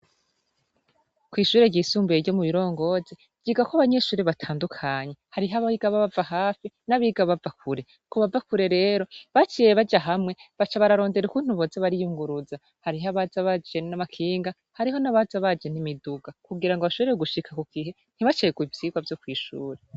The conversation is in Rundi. Kw'ishure ryisumbuye ryo mu Birongozi, ryigako abanyeshure batandukanye, hariho abiga bava hafi, nabiga bava kure, kubava kure rero baciye baja hamwe baca barondera ukuntu boza bariyunguruza, hariho abanza baje n'amakinga, hariho abaza baje n'imiduga kugira ngo bashobore gushika kugihe ntibacerwe kw'ishure.